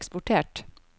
eksportert